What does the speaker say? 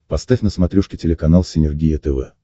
поставь на смотрешке телеканал синергия тв